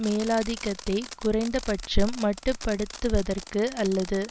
மேலாதிக்கத்தை குறைந்தபட்சம் மட்டுப்படுத்துவதற்கு அல்லது